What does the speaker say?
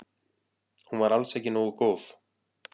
Hún var alls ekki nógu góð.